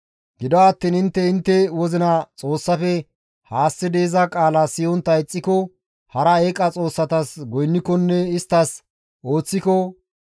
Gido attiin intte intte wozina Xoossafe haassidi iza qaala siyontta ixxiko, hara eeqa xoossatas goynnikonne isttas ooththiko,